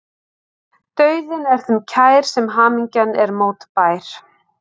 Dauðinn er þeim kær sem hamingjan er mótbær.